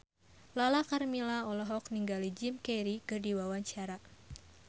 Lala Karmela olohok ningali Jim Carey keur diwawancara